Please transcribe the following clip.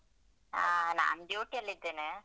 ಹ ನಾನ್ duty ಯಲ್ಲಿದ್ದೇನೆ.